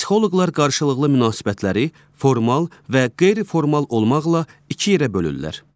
Psixoloqlar qarşılıqlı münasibətləri formal və qeyri-formal olmaqla iki yerə bölürlər.